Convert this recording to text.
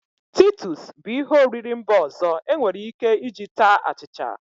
Titus bu ihe oriri mba ọzọ enwere Ike iji taa achicha.